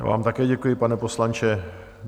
Já vám také děkuji, pane poslanče.